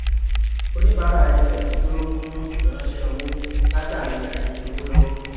oníbàárà fx dúró fún ìfiránṣẹ owó látàrí àìní owó lọwọ